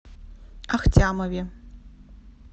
ахтямове